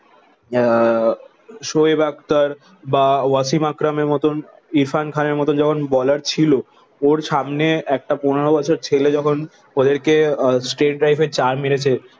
আহ শোয়েব আক্তার বা ওয়াসিম আকরাম এর মতন ইরফান খানের মতো যখন বোলার ছিল ওর সামনে একটা পনেরো বছর ছেলে যখন ওদেরকে স্টেট ড্রাইভের চার মেরেছে